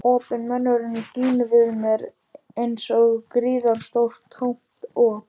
Opinn munnurinn gín við mér einsog gríðarstórt tómt op.